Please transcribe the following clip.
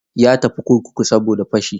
Ya tafi kurkuku saboda fashi.